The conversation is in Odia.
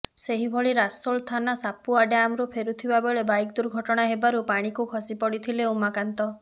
ସେହିଭଳି ରସୋଳ ଥାନା ସାପୁଆ ଡ୍ୟାମରୁ ଫେରୁଥିବା ବେଳେ ବାଇକ୍ ଦୁର୍ଘଟଣା ହେବାରୁ ପାଣିକୁ ଖସିପଡ଼ିଥିଲେ ଉମାକାନ୍ତ